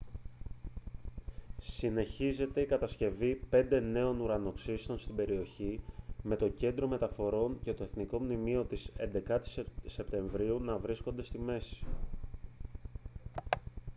συνεχίζεται η κατασκευή πέντε νέων ουρανοξυστών στην περιοχή με το κέντρο μεταφορών και το εθνικό μνημείο της 11ης σεπτεμβρίου να βρίσκονται στη μέση